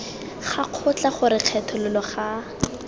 ga kgotla gore kgethololo ga